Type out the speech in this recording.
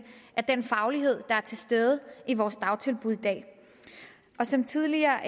af den faglighed der er til stede i vores dagtilbud i dag som tidligere